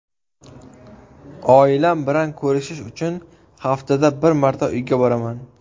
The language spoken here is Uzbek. Oilam bilan ko‘rishish uchun haftada bir marta uyga boraman.